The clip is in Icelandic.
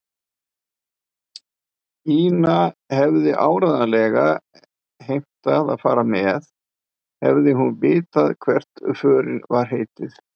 Ína hefði áreiðanlega heimtað að fara með, hefði hún vitað hvert förinni var heitið.